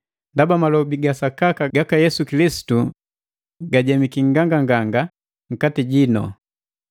Ndaba malobi ga sakaka gaka Yesu Kilisitu gujemiki nganganganga nkati jino,